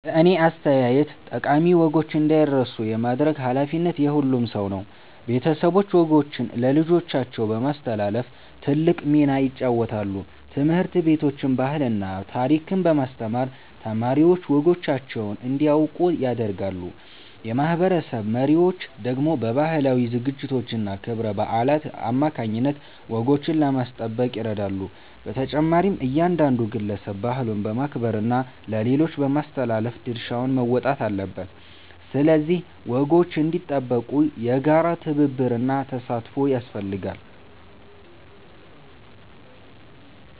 በእኔ አስተያየት ጠቃሚ ወጎች እንዳይረሱ የማድረግ ኃላፊነት የሁሉም ሰው ነው። ቤተሰቦች ወጎችን ለልጆቻቸው በማስተላለፍ ትልቅ ሚና ይጫወታሉ። ትምህርት ቤቶችም ባህልና ታሪክን በማስተማር ተማሪዎች ወጎቻቸውን እንዲያውቁ ያደርጋሉ። የማህበረሰብ መሪዎች ደግሞ በባህላዊ ዝግጅቶችና ክብረ በዓላት አማካይነት ወጎችን ለማስጠበቅ ይረዳሉ። በተጨማሪም እያንዳንዱ ግለሰብ ባህሉን በማክበርና ለሌሎች በማስተላለፍ ድርሻውን መወጣት አለበት። ስለዚህ ወጎች እንዲጠበቁ የጋራ ትብብርና ተሳትፎ ያስፈልጋል።